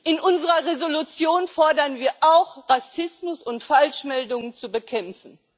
In unserer Entschließung fordern wir auch, Rassismus und Falschmeldungen zu bekämpfen.